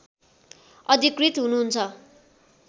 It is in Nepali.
अधिकृत हुनुहुन्छ